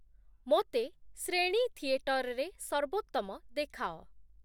ମୋତେ ଶ୍ରେଣୀ ଥିଏଟରରେ ସର୍ବୋତ୍ତମ ଦେଖାଅ |